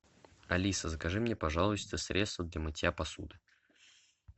алиса закажи мне пожалуйста средство для мытья посуды